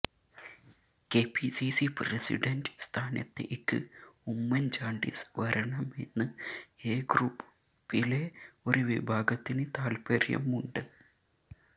KPCC president സ്ഥാനത്തേക്ക് ഉമ്മന്ചാണ്ടി വരണമെന്ന് A ഗ്രൂപ്പിലെ ഒരു വിഭാഗത്തിന് താല്പ്പര്യമുണ്ട്